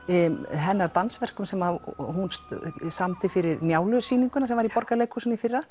hennar dansverkum sem hún samdi fyrir Njálu sýninguna sem var í Borgarleikhúsinu í fyrra